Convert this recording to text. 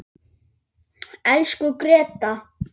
Elsku Gréta.